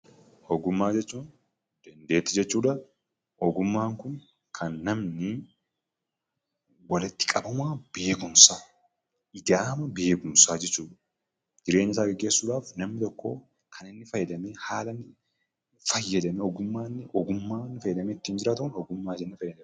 Ogummaa jechuun dandeettii jechuu dha. Ogummaan kun kan namni walitti qabama beekumsaa, ijaarama beekumsaa jechuu dha. Jireenya isaa geggeessuu dhaaf namni tokko kan inni fayyadamee haala fayyadama ogummaa inni itti fayyadamee jiraatu 'Ogummaa' jennaan.